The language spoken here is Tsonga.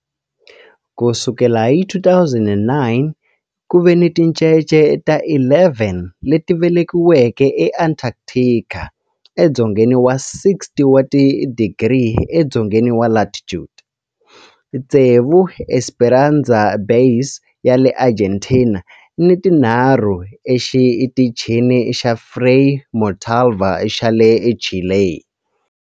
Ku sukela hi 2009, ku ve ni tincece ta 11 leti velekiweke eAntarctica, edzongeni wa 60 wa tidigri edzongeni wa latitude, tsevu eEsperanza Base ya le Argentina ni tinharhu eXitichini xa Frei Montalva xa le Chile.